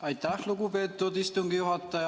Aitäh, lugupeetud istungi juhataja!